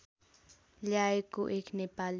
ल्याएको एक नेपाली